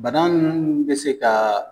Bana nunnu munnu bɛ se ka